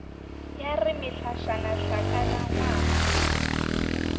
ya re mehlašana hlakana ngwang